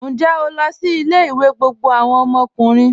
Ǹjẹ́ o lọ sí ilẹ̀-ìwé gbogbo awọn ọmọkùnrin?